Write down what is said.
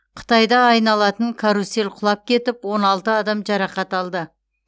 қытайда айналатын карусель құлап кетіп он алты адам жарақат алды